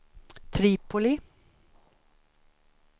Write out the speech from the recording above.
Tripoli